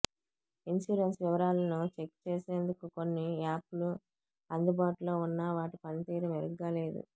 insurance వివరాలను check చేసేం దుకు కొన్ని యాప్ లూ అందుబాటులో ఉన్న వాటి పనితీరు మెరుగ్గా లేదు